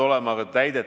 Kõigepealt testidest.